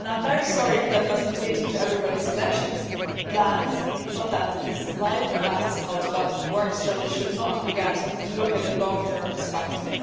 I am very sorry if that does not fit into everybody's election plans, but that is life and that is how development works, so we should not forget to look at the long term perspective.